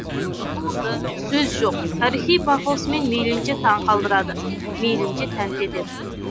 туынды сөз жоқ тарихи пафосымен мейлінше таң қалдырады мейлінше тәнті етеді